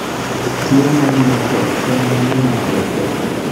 Tuo mar menkes en mano ma ketho